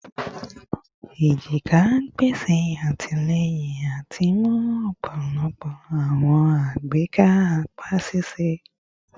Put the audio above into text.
ejika pese atilẹyin ati mu ọpọlọpọ awọn agbeka apa ṣiṣẹ